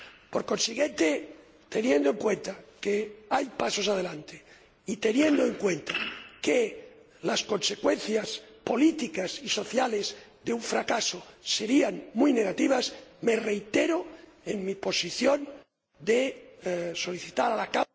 Por consiguiente, teniendo en cuenta que hay pasos adelante y teniendo en cuenta que las consecuencias políticas y sociales de un fracaso serían muy negativas, me reitero en mi posición de solicitar a la Cámara...